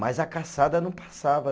Mas a caçada não passava.